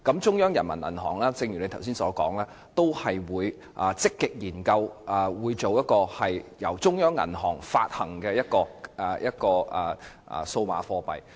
正如局長剛才所說，人民銀行也會積極研究一種由中央銀行發行的數碼貨幣。